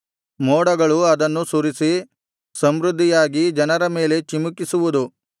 ಮೋಡಗಳು ಅದನ್ನು ಸುರಿಸಿ ಸಮೃದ್ಧಿಯಾಗಿ ಜನರ ಮೇಲೆ ಚಿಮುಕಿಸುವುದು